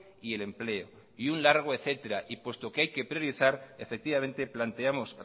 y el empleo y un largo etcétera y puesto que hay que priorizar efectivamente planteamos